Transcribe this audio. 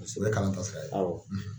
Paseke o ye kalan ta ye